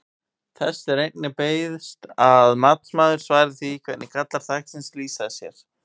Þess er einnig beiðst að matsmaður svari því hvernig gallar þaksins lýsa sér?